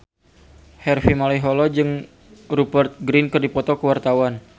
Harvey Malaiholo jeung Rupert Grin keur dipoto ku wartawan